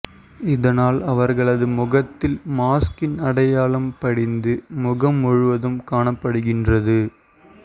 இதனால் அவர்களது முகத்தில் மாஸ்கின் அடையாளம் படிந்து முகம் முழுவதும் காணப்படுகிறது